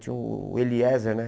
Tinha o Eliezer, né?